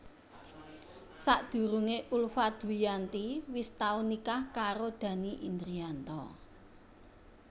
Sadurungé Ulfa Dwiyanti wis tau nikah karo Dhanny Indrianto